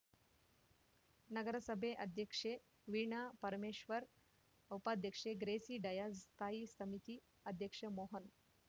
ನಗರಸಭೆ ಅಧ್ಯಕ್ಷೆ ವೀಣಾ ಪರಮೇಶ್ವರ್‌ ಉಪಾಧ್ಯಕ್ಷೆ ಗ್ರೇಸಿ ಡಯಾಸ್‌ ಸ್ಥಾಯಿ ಸಮಿತಿ ಅಧ್ಯಕ್ಷ ಮೋಹನ್‌